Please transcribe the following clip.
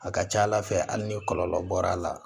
A ka ca ala fɛ hali ni kɔlɔlɔ bɔr'a la